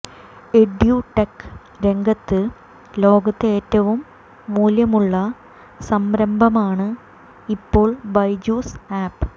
edtech രംഗത്ത് ലോകത്ത് ഏറ്റവും മൂല്യമുള്ള സംരംഭമാണ് ഇപ്പോൾ ബൈജൂസ് ആപ്പ്